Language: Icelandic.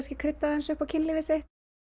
krydda aðeins upp á kynlífið sitt